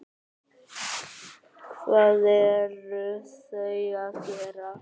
Hvað eru þau að gera?